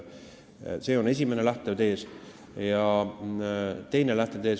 See on esimene lähtetees.